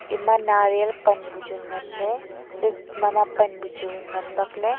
ema nariyal pan buchu nganley chat mama pan buchu ngan bakley.